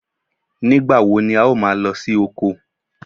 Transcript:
Nígbà wo ni o máa lọ sí oko?